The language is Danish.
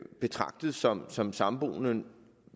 betragtet som som samboende